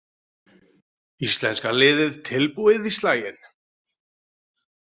Íslenska liðið tilbúið í slaginn